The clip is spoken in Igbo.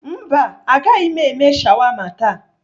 Mba agaghị m eme shawama taa.